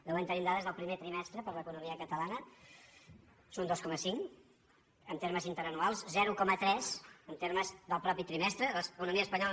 de moment tenim dades del primer trimestre per a l’economia catalana és un dos coma cinc en termes interanuals zero coma tres en termes del mateix trimestre l’economia espa·nyola